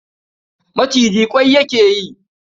Maciji ƙwai yake yi.